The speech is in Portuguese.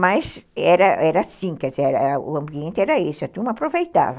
Mas era era assim, quer dizer, o ambiente era esse, a turma aproveitava.